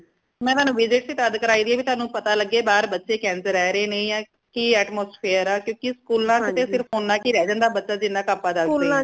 mam ਇਨਾ ਨੂ visit ਹੀ ਤਦ ਕਰਾਈ ਦੀ ਹੈ ਕਿ ਤੁਆਨੁ ਪਤਾ ਲਗੇ ਬਾਹਰ ਬਚੇ ਕਿੰਝ ਰਹ ਰਏ ਨੇ ਯਾ ਕਿ atmosphere ਆ ਕਿਉਂਕਿ school ਚ ਤਾ ਸਿਰਫ ਓਨਾ ਕਿ ਰਹ ਜਾਂਦਾ ਬੱਚਾ ਜਿਨਾ ਆਪਾ ਦਸਦੇ ਹਾਂ